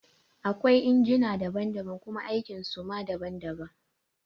Akwai injina daban daban kuma aikin so ma daban daban